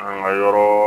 An ka yɔrɔɔ